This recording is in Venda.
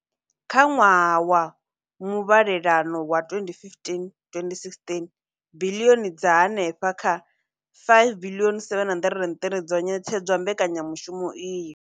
Kha ṅwaha wa muvhalelano wa 2015,2016, biḽioni dza henefha kha R5 703 dzo ṋetshedzwa mbekanya mushumo iyi.